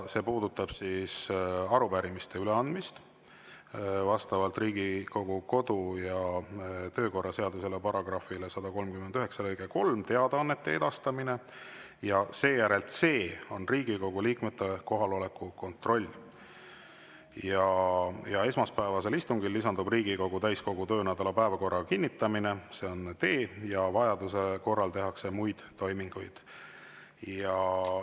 See puudutab arupärimiste üleandmist vastavalt Riigikogu kodu- ja töökorra seaduse § 139 lõikele 3; teadaannete edastamist; ja seejärel c) on Riigikogu liikmete kohaloleku kontroll; esmaspäevasel istungil lisandub Riigikogu täiskogu töönädala päevakorra kinnitamine, see on d); ja vajaduse korral tehakse muid toiminguid.